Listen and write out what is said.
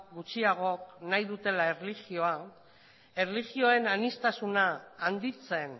gutxiagok nahi dutela erlijioa erlijioen aniztasuna handitzen